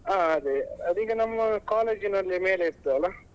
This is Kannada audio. ಹಾ ಅದೇ ಅದ್ ಈಗ ನಮ್ಮ college ನಲ್ಲೇ ಮೇಲೆ ಇರ್ತದಲ್ಲ.